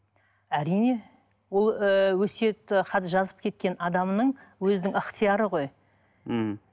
әрине ол ыыы өсиет хат жазып кеткен адамның өзінің ыхтияры ғой мхм